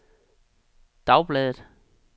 dagbladet